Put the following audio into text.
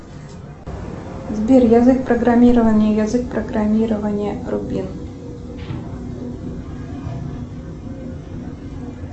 сбер язык программирования язык программирования рубин